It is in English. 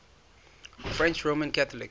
french roman catholics